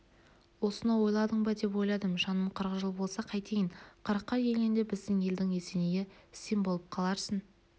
осыны ойладың ба ойладым жаным қырық жыл болса қайтейін қырыққа келгенде біздің елдің есенейі сен болып қаларсың